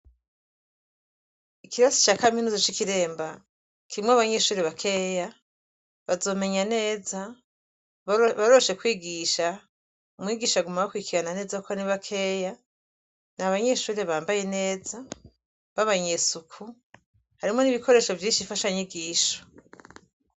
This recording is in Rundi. Ikirasi ca kaminuza c'i Kiremba kirimwo abanyeshure bakeya, bazomenya neza, baroroshe kwigisha, umwigisha aguma abakurikirana neza kuko ni bakeya ni abanyeshure bambaye neza b'abanyesuku. Harimwo n'ibikoresho vyinshi mfashanyigisho.